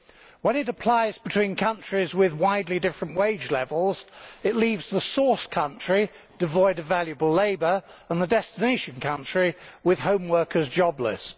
When it applies between countries with widely different wage levels, it leaves the source country devoid of valuable labour and the destination country with home workers jobless.